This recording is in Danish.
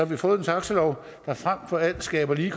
har fået en taxalov der frem for alt skaber lige